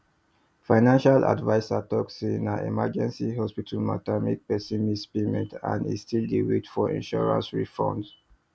financial adviser talk say na emergency hospital matter make person miss payment and e still dey wait for insurance refund